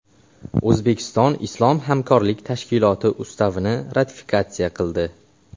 O‘zbekiston Islom hamkorlik tashkiloti Ustavini ratifikatsiya qildi.